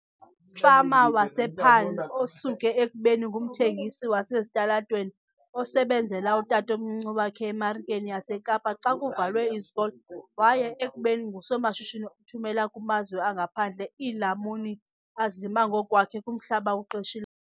Fama wasePaarl, osuke ekubeni ngumthengisi wasesitalatweni osebenzela utatomncinci wakhe eMarikeni yaseKapa xa kuvalwe izikolo waya ekubeni ngusomashishini othumela kumazwe angaphandle iilamuni azilima ngokwakhe kumhlaba awuqeshi.